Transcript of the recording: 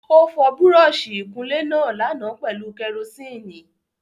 Ó fọ Búrọ́ọ̀sì ìkunlé náà lánàá pẹ̀lú kẹrosíìnì